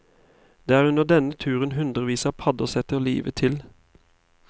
Det er under denne turen hundrevis av padder setter livet til.